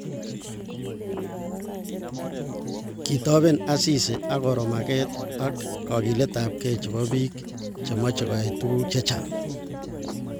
Kitoben Asisi akoro maget ak kogiletabkei chebo bik chemochei koyai tuguk chechang